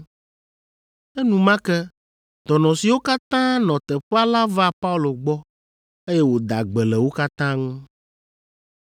Enumake dɔnɔ siwo katã nɔ teƒea la va Paulo gbɔ, eye wòda gbe le wo katã ŋu.